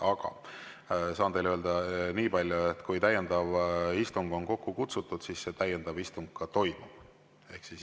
Aga saan teile öelda niipalju, et kui täiendav istung on kokku kutsutud, siis see täiendav istung toimub.